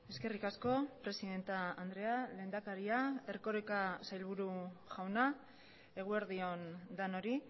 eskerrik asko presidente andrea lehendakaria erkoreka sailburu jauna eguerdion denoi